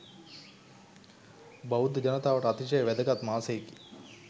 බෞද්ධ ජනතාවට අතිශය වැදගත් මාසයකි.